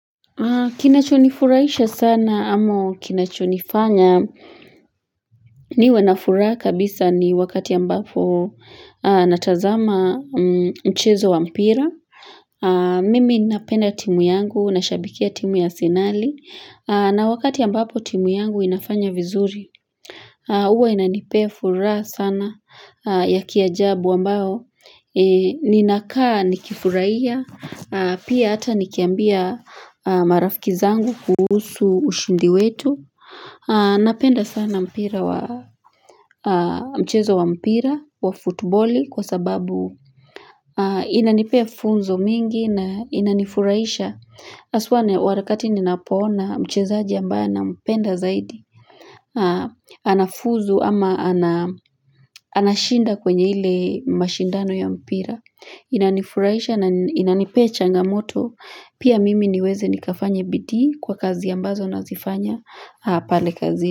Kinachonifurahisha sana ama kinachonifanya. Mimi huwa na furaha kabisa ni wakati ambapo natazama mchezo wa mpira Mimi ninapenda timu yangu. Ninashabikia timu ya arsenali. Na wakati ambapo timu yangu inafanya vizuri, Uwa inanipea furaha sana ya kiajabu ambao, ninakaa nikifurahia. Pia hata nikiambia marafiki zangu kuhusu ushindi wetu. Napenda sana mpira wa mchezo wa mpira wa futuboli kwa sababu inanipea funzo mingi na inanifurahisha. Haswa ni, wakati ninapoona mchezaji ambaye nampenda zaidi. Anafuzu ama anashinda kwenye ile mashindano ya mpira. Inanifurahisha na inanipea changamoto. Pia mimi niweze nikafanya bidii kwa kazi ambazo nazifanya pale kazi.